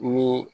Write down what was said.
Ni